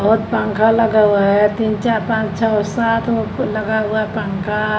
बहोत पंखा लगा हुआ है तीन चार पाँच छ सात ओ लगा हुआ है पंखा।